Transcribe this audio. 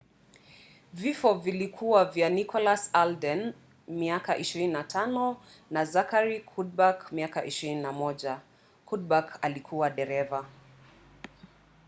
vifo vilikuwa vya nicholas alden 25 na zachary cuddeback 21. cuddeback alikuwa dereva